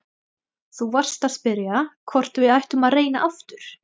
Þú varst að spyrja hvort við ættum að reyna aftur.